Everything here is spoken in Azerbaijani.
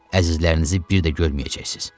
Əzizlərinizi bir də görməyəcəksiniz.